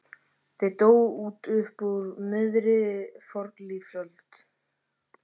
Þeir dóu út upp úr miðri fornlífsöld.